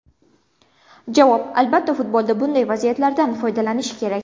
Javob: Albatta, futbolda bunday vaziyatlardan foydalanish kerak.